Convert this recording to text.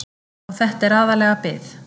Og þetta er aðallega bið.